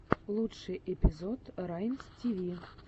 лучший эпизод раймстиви